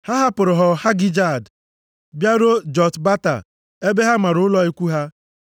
Ha hapụrụ Họ Hagịdgad bịaruo Jotbata ebe ha mara ụlọ ikwu ha.